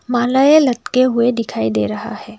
मालाएं लटके हुए दिखाई दे रहा है।